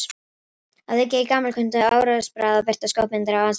Að auki er gamalkunnugt áróðursbragð að birta skopmyndir af andstæðingnum.